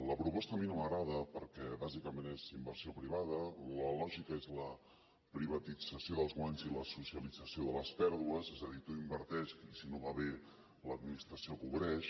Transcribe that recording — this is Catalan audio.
la proposta a mi no m’agrada perquè bàsicament és inversió privada la lògica és la privatització dels guanys i la socialització de les pèrdues és a dir tu inverteix i si no va bé l’administració ho cobreix